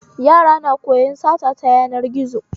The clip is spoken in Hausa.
Yara na koyan sata ta yanar gizo